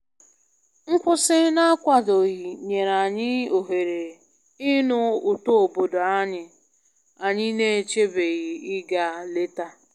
Nkwụsị na-akwadoghị nyere anyị ohere ịnụ ụtọ obodo anyị anyị na-echebeghị ịga leta.